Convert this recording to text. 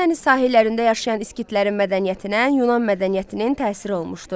Qaradəniz sahillərində yaşayan skitlərin mədəniyyətinə Yunan mədəniyyətinin təsiri olmuşdu.